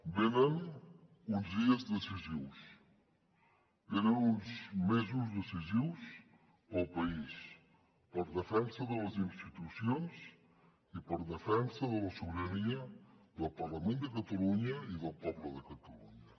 venen uns dies decisius venen uns mesos decisius per al país per a la defensa de les institucions i per a la defensa de la ciutadania del parlament de catalunya i del poble de catalunya